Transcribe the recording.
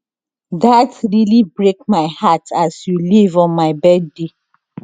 dat really break my heart as you leave on my birthday